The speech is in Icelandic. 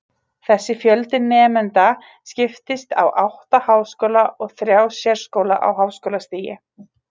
Þessi fjöldi nemenda skiptist á átta háskóla og þrjá sérskóla á háskólastigi.